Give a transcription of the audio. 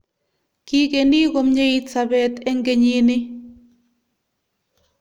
Kigeni komyeit sobeet eng kenyini